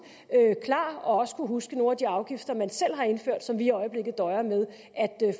klar og også kunne huske nogle af de afgifter man selv har indført og som vi i øjeblikket døjer med at